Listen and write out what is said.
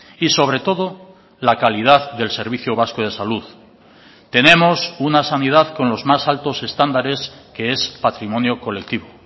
y sobre todo la calidad del servicio vasco de salud tenemos una sanidad con los más altos estándares que es patrimonio colectivo